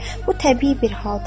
Bu təbii bir haldır.